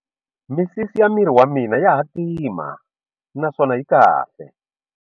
Misisi ya miri wa mina ya hatima naswona yi kahle.